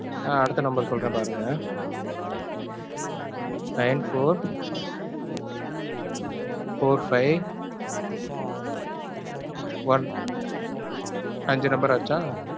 ஆஹ் அடுத்த number சொல்றேன் பாருங்க. nine-four four-five one அஞ்சு number ஆச்சா?